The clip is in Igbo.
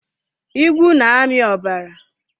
Igwu na-ami ọbara.